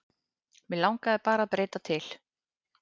Mig langaði bara að breyta til.